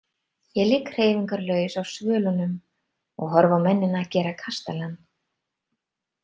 Ég ligg hreyfingarlaus á svölunum og horfi á mennina gera kastalann.